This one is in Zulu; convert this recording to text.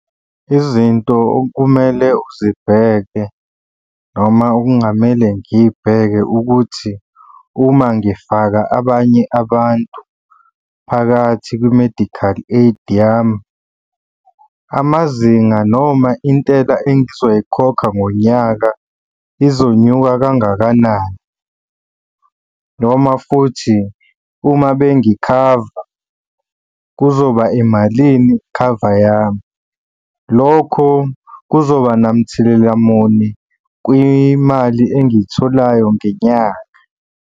Izinto okumele uzibheke noma okungamele ngiy'bheke ukuthi uma ngifaka abanye abantu phakathi kwi-medical aid yami, amazinga noma intela engizoyikhokha ngonyaka izonyuka kangakanani? Noma futhi uma bengikhava kuzoba imalini ikhava yami? Lokho kuzoba namthelela muni kwimali engiyitholayo ngenyanga?